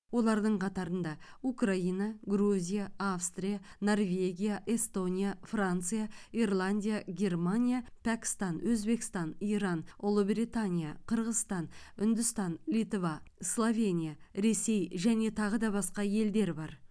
олардың қатарында украина грузия австрия норвегия эстония франция ирландия германия пәкістан өзбекстан иран ұлыбритания қырғызстан үндістан литва словения ресей және тағы басқа елдер бар